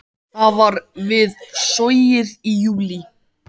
Það var við Sogið í júlí.